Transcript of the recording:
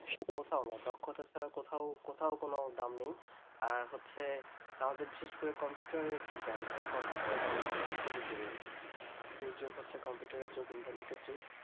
সে তো অবশ্যই দক্ষতা ছাড়া কোথাও কোথাও কোনো দাম নাই। আর হচ্ছে বিশেষ করে আমাদের computer এর যে জ্ঞান computer -এর জ্ঞান থাকাটা খুবই জরুরি